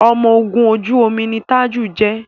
ọmọ ògún ojú omi ní Taju jé.